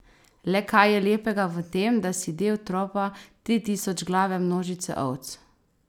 Le kaj je lepega v tem, da si del tropa tritisočglave množice ovc?